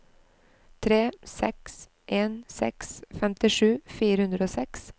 tre seks en seks femtisju fire hundre og seks